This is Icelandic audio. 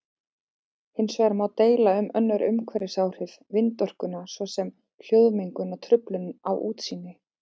Hins vegar má deila um önnur umhverfisáhrif vindorkunnar svo sem hljóðmengun og truflun á útsýni.